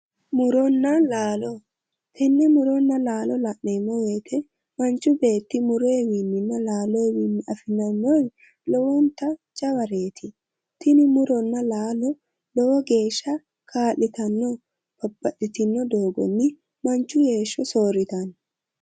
Muronna laalo tenne murona laalo la'neemo woyite manichi beeti miroyiwininna laaloyiwii afi'neemor lowonitta jawareeti tini muronna laalo lowo geesha ka'litanno babbaxitino doogonni manichi heesho sooritanno